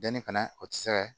Denni fana o tɛ se ka